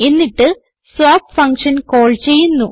എന്നിട്ട് swap function call ചെയ്യുന്നു